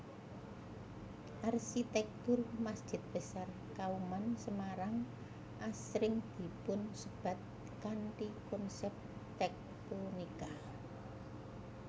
Arsitektur Masjid Besar Kauman Semarang asring dipunsebat kanthi konsep tektonika